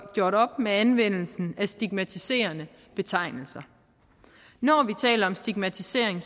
gjort op med anvendelsen af stigmatiserende betegnelser når vi taler om stigmatisering